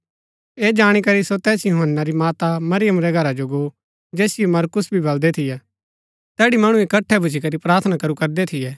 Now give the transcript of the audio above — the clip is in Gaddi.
ऐह जाणी करी सो तैस यूहन्‍ना री माता मरियम रै घरा जो गो जैसिओ मरकुस भी बलदै थियै तैड़ी मणु इकट्ठै भूच्ची करी प्रार्थना करू करदै थियै